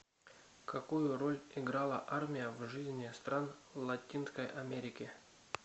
какую роль играла армия в жизни стран латинской америки